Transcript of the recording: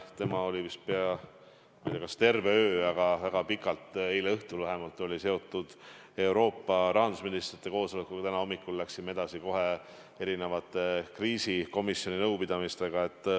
Tema oli, ma ei tea, kas just terve öö, aga väga pikalt eile õhtul seotud Euroopa rahandusministrite koosolekuga ja täna hommikul läksime edasi erinevate kriisikomisjoni nõupidamistega.